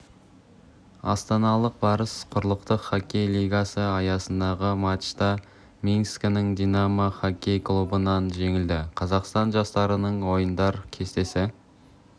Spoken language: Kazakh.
астаналық барыс құрлықтық іоккей лигасы аясындағы матчта минскінің динамо іоккей клубынан жеңілді қазақстан жастарының ойындар кестесі